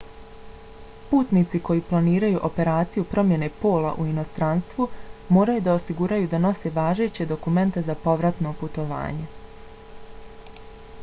putnici koji planiraju operaciju promjene pola u inostranstvu moraju da osiguraju da nose važeće dokumente za povratno putovanje